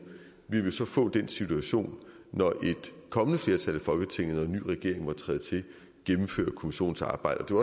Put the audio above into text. vil vi så få den situation når et kommende flertal i folketinget og en ny regering måtte træde til at kommissionens arbejde